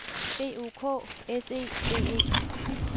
B O K S E D E